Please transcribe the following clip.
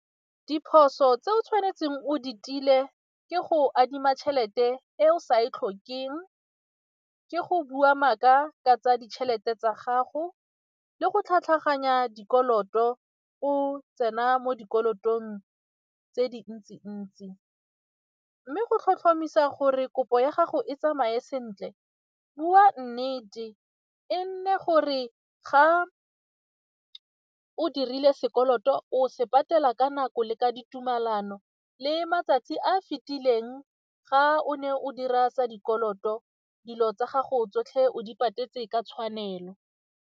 Diphoso tse o tshwanetseng o di tile ke go adima tšhelete e o sa e tlhokeng, ke go bua maaka ka tsa ditšhelete tsa gago le go tlhatlhaganya dikoloto o tsena mo dikolotong tse dintsi-ntsi mme go tlhotlhomisa gore kopo ya gago e tsamaye sentle, bua nnete e nne gore ga o dirile sekoloto o se patela ka nako le ka ditumelano le matsatsi a a fitileng ga o ne o dira sa dikoloto, dilo tsa gago tsotlhe o di patetse ka tshwanelo.